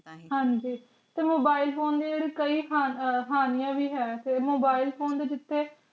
ਹਾਂਜੀ ਤੇ mobile phone ਦੇ ਕਈ ਹਾਨਿਯਾਂ ਵੀ ਹੈ mobile phone ਦੇ ਜਿਥੇ